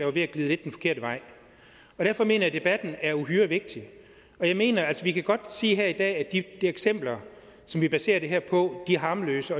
var ved at glide den forkerte vej derfor mener jeg at debatten er uhyre vigtig jeg mener at vi godt sige at de eksempler som vi baserer det her på er harmløse